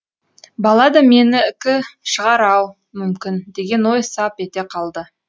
бала да менікі шығар ау мүмкін деген ой сап ете қалды